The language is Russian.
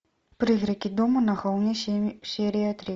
призраки дома на холме серия три